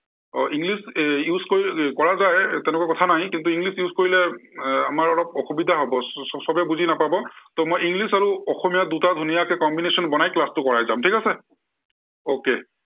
আহ english use কৰা যায়, তেনেকুৱা কথা নাই। কিন্তু english use কৰিলে এৰ আমাৰ অলপ অসুবিধা হব স~সৱে বুজি নাপাব। ত' মই english আৰু অসমীয়া দুটাৰ ধুনীয়াকে combination বনাই class টো কৰাই যাম। ঠিক আছে। okay